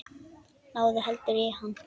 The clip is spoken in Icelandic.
Náðu heldur í hann.